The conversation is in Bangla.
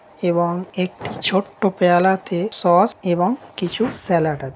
এবং একটি ছোট্টো পেয়ালা তে সস এবং কিছু স্যালাড আছে।